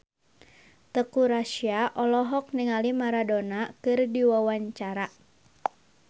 Teuku Rassya olohok ningali Maradona keur diwawancara